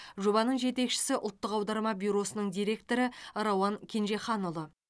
жобаның жетекшісі ұлттық аударма бюросының директоры рауан кенжеханұлы